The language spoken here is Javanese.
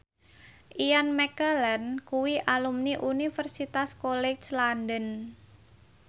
Ian McKellen kuwi alumni Universitas College London